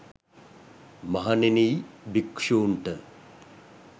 මහණෙනි යි භික්ෂූන්ට